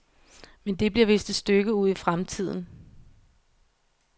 Men det bliver vist et stykke ud i fremtiden.